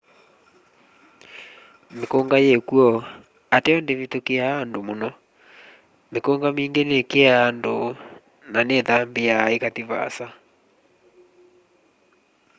mîkûnga yîkw'o ateo ndîvithûkîaa andu mûno. mikunga mingî nîkîaa andu na nîthambîaa îkathi vaasa